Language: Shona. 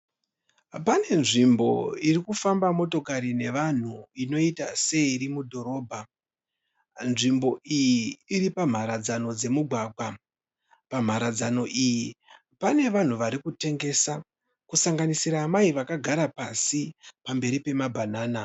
Pane nzvimbo irikufamba motokari nevanhu inoita seiri mudhorobha. Nzvimbo iyi iripamharadzano dzemugwagwa. Pamharadzano iyi pane vanhu varikutengesa kusanganisira amai vakagara pasi pamberi pemabhanana.